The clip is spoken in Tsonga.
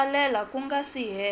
tsalela ku nga si hela